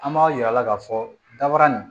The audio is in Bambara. An b'a yir'a la k'a fɔ dabara nin